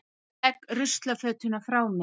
Legg ruslafötuna frá mér.